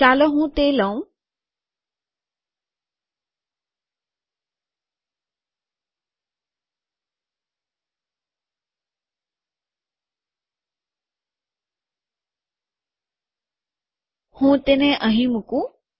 ચાલો હું તે લઉં હું તેને અહીં મુકું